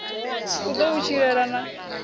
u ḓo u tshilela na